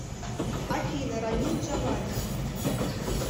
афина рамин джавади